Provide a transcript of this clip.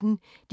DR P1